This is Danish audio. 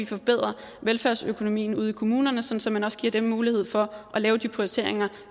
forbedre velfærdsøkonomien ude i kommunerne så så man også giver dem mulighed for at lave de prioriteringer